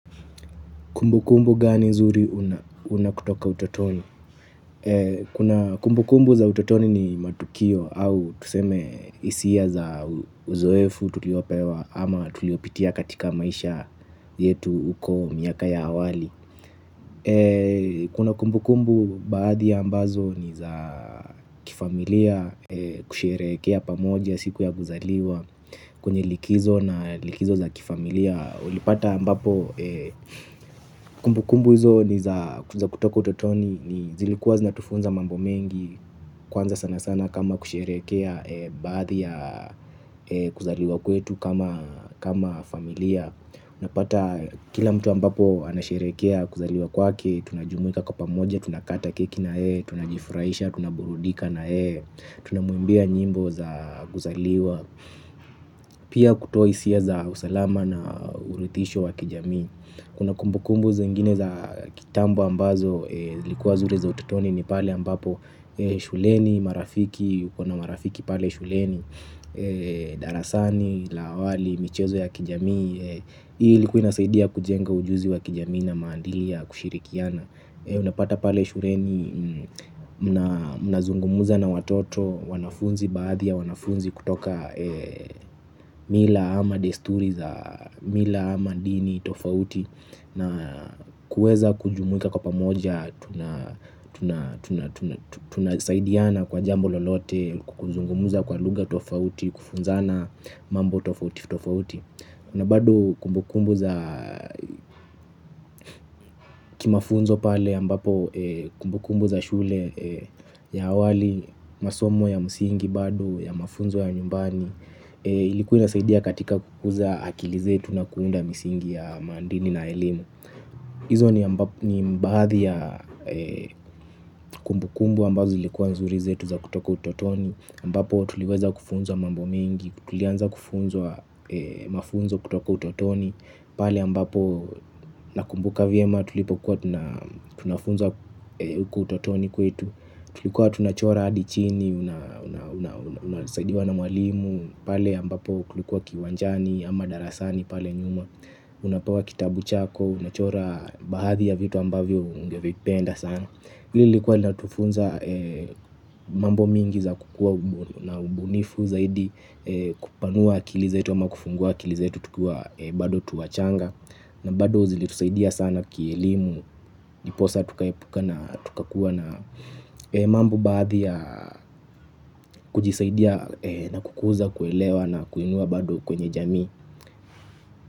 Kumbu kumbu gani zuri unakutoka utotoni? Kuna kumbu kumbu za utotoni ni matukio au tuseme isia za uzoefu tuliopewa ama tuliopitia katika maisha yetu uko miaka ya awali. Kuna kumbu kumbu baadhi ya ambazo ni za kifamilia kusherekea pamoja siku ya guzaliwa. Kwenye likizo na likizo za kifamilia ulipata ambapo kumbu kumbu hizo ni za kutoka utotoni. Zilikuwa zinatufunza mambo mengi kwanza sana sana kama kusherekea baadhi ya kuzaliwa kwetu kama familia. Una pata kila mtu ambapo anasherekea kuzaliwa kwake. Tunajumuika kwa pamoja, tunakata keki na hee. Tunajifuraisha, tunaburudika na hee. Tunamuimbia nyimbo za kuzaliwa. Pia kutoa isia za usalama na urithisho wa kijami. Kuna kumbukumbu zingine za kitambo ambazo zilkuwa zuri za ututoni ni pale ambapo shuleni, marafiki, ukona marafiki pale shuleni. Darasani, lawali, michezo ya kijami. Hii likua inasaidia kujenga ujuzi wa kijamii na maandili ya kushirikiana. Unapata pale shureni mnazungumuza na watoto. Wanafunzi baadhi ya wanafunzi kutoka mila ama desturi za mila ama dini tofauti. Na kueza kujumuika kwa pamoja. Tunasaidiana kwa jambo lolote. Kuzungumuza kwa luga tofauti. Kufunzana mambo tofauti tofauti. Na bado kumbukumbu za kimafunzo pale yambapo kumbukumbu za shule ya awali masomo ya musingi bado ya mafunzo ya nyumbani ilikuwa inasaidia katika kukuza akili zetu na kuunda misingi ya mandini na elimu. Izo ni bahadhi ya kumbukumbu ambazo ilikuwa nzuri zetu za kutoka utotoni ambapo tuliweza kufunzwa mambo mingi, tulianza kufunzwa mafunzo kutoka utotoni. Pale ambapo nakumbuka viema tulipokuwa tunafunza uko utotoni kwetu. Tulikuwa tunachora adichini, unasaidiwa na mwalimu. Pale ambapo kulikuwa kiwanjani ama darasani pale nyuma. Unapewa kitabu chako, unachora bahadhi ya vitu ambavyo ungevipenda sana. Hili likuwa latufunza mambo mingi za kukua na ubunifu zaidi. Kupanua akilizetu ama kufungua akilizetu tukiwa bado tuwachanga. Na bado zilitusaidia sana kielimu, ndiposa tukayepuka na tukakuwa na mambo bahadhi ya kujisaidia na kukuza kuelewa na kuinua bado kwenye jami.